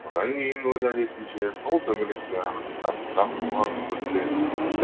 содан кейін өз әдетінше сол төңіректе ақырындап ұзақ толғанып көрсе